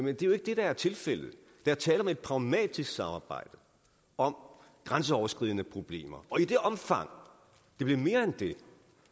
er jo ikke det der er tilfældet der er tale om et pragmatisk samarbejde om grænseoverskridende problemer og i det omfang det bliver mere end det